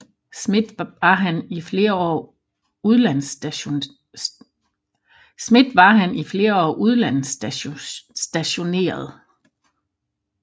Schmidt var han i flere år udlandsstationeret